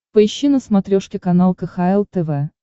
поищи на смотрешке канал кхл тв